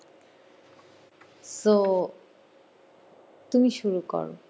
so তুমি শুরু করো